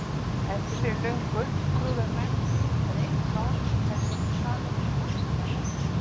Endur fyrir löngu trúðu menn því að eitt mál hefði verið talað um alla jörðina.